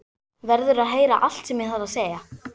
Verður að heyra allt sem ég þarf að segja.